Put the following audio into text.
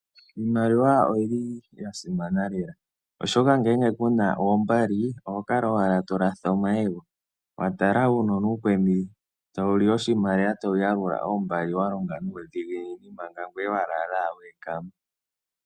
Iimaliwa oyi li ya simana lela, oshoka ngele ku na oombali oho kala owala to latha omayego wa tala uunona uukweni tawu li oshimaliwa tawu yalula oombali wa longa nuudhiginini, manga ngoye wa lala owala we ekama.